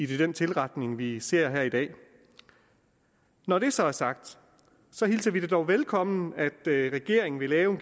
den tilretning vi ser her i dag når det så er sagt hilser vi det dog velkommen at regeringen vil lave